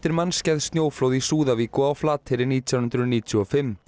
mannskæð snjóflóð í Súðavík og á Flateyri nítján hundruð níutíu og fimm